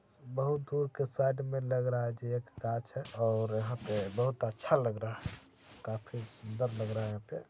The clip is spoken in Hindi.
बहुत दूर के साइड में लग रहा है जे एक गाछ है और यहाँ पे बहुत अच्छा लग रहा है काफी सुन्दर लग रहा है।